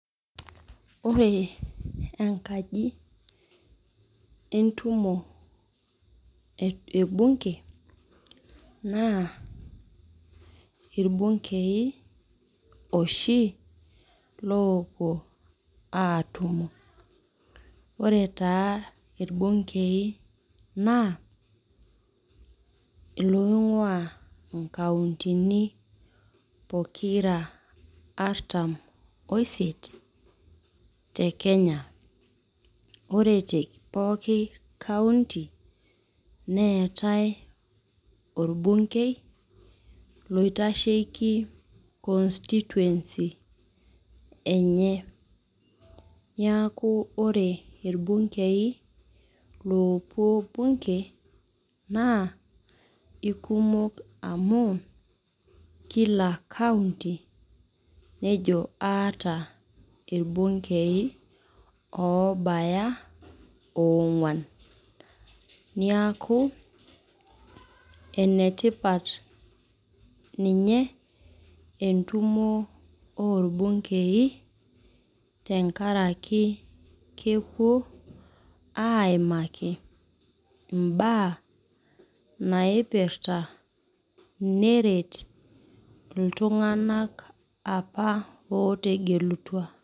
Ore enkaji entumo ebunke, naa irbunkei oshi loopuo atumo. Ore taa irbunkei naa, iloing'ua inkauntini pokira artam oisiet te Kenya. Ore te pooki kaunti, neetae orbunkei loitasheki constituency enye. Niaku ore irbunkei loopuo bunke, naa ikumok amu, kila kaunti nejo aata irbunkei obaya ong'uan. Niaku, enetipat ninye entumo orbunkei tenkaraki kepuo aimaki imbaa naipirta neret iltung'anak apa otegelutua.